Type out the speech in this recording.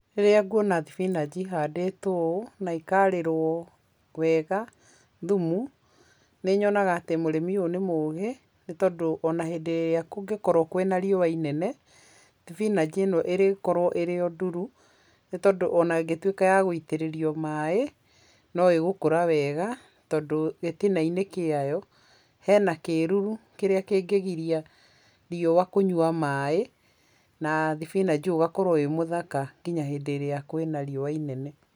Rĩrĩa nguona thibinanji ĩhandĩtwo ũũ na ikarĩrwo wega thumu, nĩnyonaga atĩ mũrĩmi ũyũ nĩ mũgĩ, nĩ tondũ ona hĩndĩ ĩrĩa kũngĩkorwo kwĩna riũa inene, thibinanji ĩno ĩrĩkorwo ĩrĩ o nduru, nĩ tondũ ona ĩngĩtuĩka ya gũitĩrĩrio maĩ, no ĩgũkũra wega, tondũ gĩtina-inĩ kĩayo hena kĩruru kĩrĩa kĩngĩgiria riũa kũnyua maĩ, na thibinanji ũyũ ũgakorwo wĩ mũthaka nginya hĩndĩ ĩrĩa kwĩ na riũa inene.